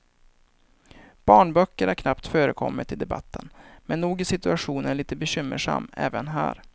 Barnböcker har knappt förekommit i debatten, men nog är situationen lite bekymmersam även här.